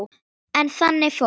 En þannig fór.